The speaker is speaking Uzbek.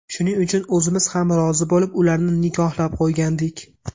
Shuning uchun o‘zimiz ham rozi bo‘lib, ularni nikohlab qo‘ygandik.